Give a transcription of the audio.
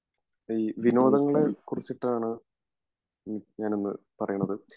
നമസ്കാരം